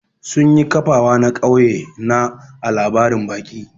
Sun yi kafawa na kauye na ã labarin baki.